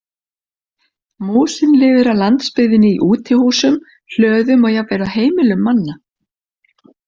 Músin lifir á landsbyggðinni í útihúsum, hlöðum og jafnvel á heimilum manna.